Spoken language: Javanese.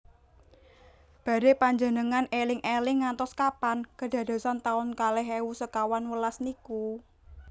Badhe panjengengan eling eling ngantos kapan kedadosan taun kalih ewu sekawan welas niku?